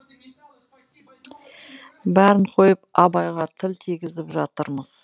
бәрін қойып абайға тіл тигізіп жатырмыз